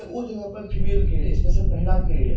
उ जगह पर फीमेल के लिए स्पेशल महिला के लिए है।